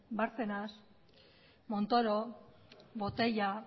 bárcenas montoro botella